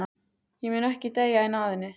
Ég mun ekki deyja í náðinni.